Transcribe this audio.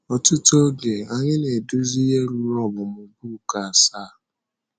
Ọtụtụ oge, anyị na - eduzi ihe ruru ọmụmụ book asaa.